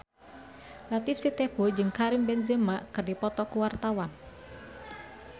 Latief Sitepu jeung Karim Benzema keur dipoto ku wartawan